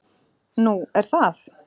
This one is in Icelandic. """Nú, er það?"""